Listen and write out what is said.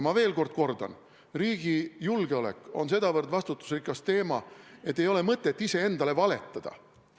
Ma kordan veel: riigi julgeolek on sedavõrd vastutusrikas teema, et ei ole mõtet iseendale valetada.